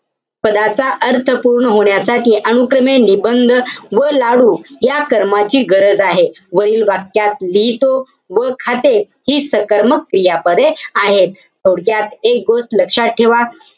पदाचा अर्थ पूर्ण होण्यासाठी अनुक्रमे, निबंध व लाडू या कर्माची गरज आहे. वरील वाक्यात लिहितो व खाते हि सकर्मक क्रियापदे आहेत. थोडक्यात एक गोष्ट लक्षात ठेवा.